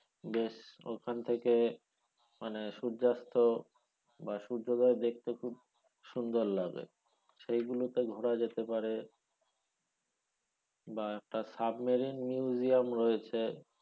বেশ ওখান থেকে মানে সূর্যাস্ত বা সূর্যদয় দেখতে খুব সুন্দর লাগে সেগুলো তে ঘোরা যেতে পারে বা একটা submarine museum রয়েছে